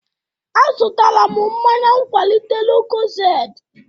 Azụtara m mmanya nkwalite lucozade